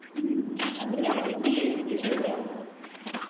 ഉം അങ്ങനമ്മക്ക് BAEnglish എടുക്കാം